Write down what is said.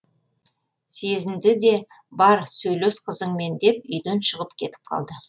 сезінді де бар сөйлес қызыңмен деп үйден шығып кетіп қалды